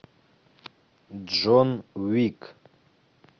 джон уик